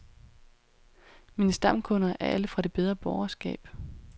Mine stamkunder er alle fra det bedre borgerskab.